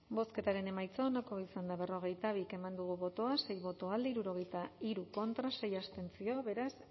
bozketaren emaitza onako izan da berrogeita bi eman dugu bozka sei boto alde hirurogeita hiru contra sei abstentzio beraz